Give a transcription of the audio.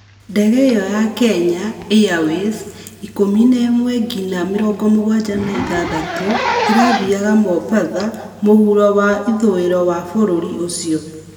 Ndege ĩyo ya Kenya airways 11-76 ĩrathĩaga Mombatha mũhũro wa ĩthũĩro wa bũrũri ũcĩo